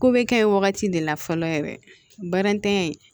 Ko bɛ kɛ yen wagati de la fɔlɔ yɛrɛ baaratanya